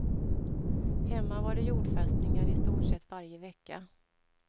Hemma var det jordfästningar i stort sett varje vecka.